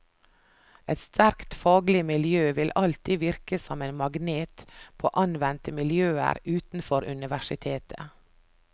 Et sterkt faglig miljø vil alltid virke som en magnet på anvendte miljøer utenfor universitetet.